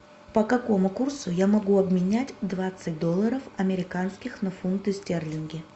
по какому курсу я могу обменять двадцать долларов американских на фунты стерлинги